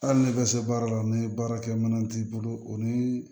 Hali ni bɛ se baara la ni baarakɛminɛn t'i bolo o ni